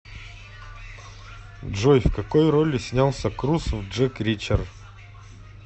джой в какои роли снялся круз в джек ричер